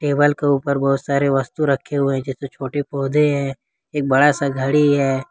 Table के ऊपर बहुत सारे वस्तु रखे हुए हैं जैसे छोटे पौधे हैं एक बड़ा सा घड़ी है।